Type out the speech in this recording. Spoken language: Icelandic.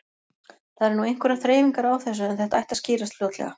Það eru nú einhverjar þreifingar á þessu en þetta ætti að skýrast fljótlega.